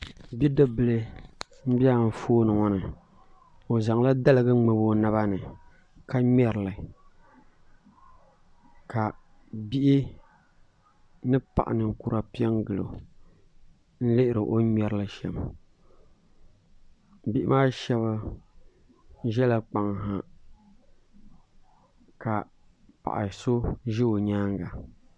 Bi dibi bila n bɛ anfooni ŋɔ ni o zaŋla daligi n ŋmabi o naba ni ka ŋmɛri li ka bihi ni paɣi ninkura pɛ n gili o n lihiri o ni mŋɛri li shɛm bihi maa shɛb zɛla kpaŋa ha ka paɣa so zɛ o yɛanga.